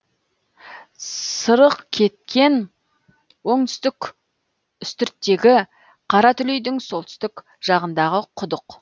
сырықкеткен оңтүстік үстірттегі қаратүлейдің солтүстік жағындағы құдық